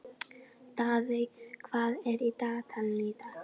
Daðey, hvað er í dagatalinu í dag?